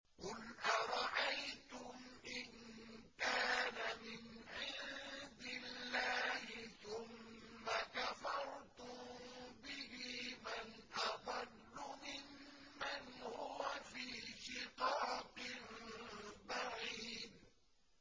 قُلْ أَرَأَيْتُمْ إِن كَانَ مِنْ عِندِ اللَّهِ ثُمَّ كَفَرْتُم بِهِ مَنْ أَضَلُّ مِمَّنْ هُوَ فِي شِقَاقٍ بَعِيدٍ